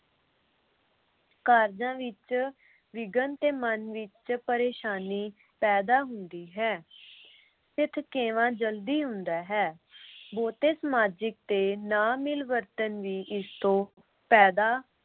ਕਾਰਜਾਂ ਵਿਚ ਵਿਘਨ ਤੇ ਮਨ ਵਿਚ ਪਰੇਸ਼ਾਨੀ ਪੈਦਾ ਹੁੰਦੀ ਹੈ ਤੇ ਥਕੇਵਾਂ ਜਲਦੀ ਹੁੰਦਾ ਹੈ । ਬਹੁਤੇ ਸਮਾਜਿਕ ਤੇ ਨਾ ਮਿਲਵਰਤਨ ਵੀ ਇਸ ਤੋਂ ਪੈਦਾ